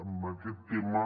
en aquest tema